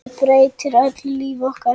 Hann breytir öllu lífi okkar.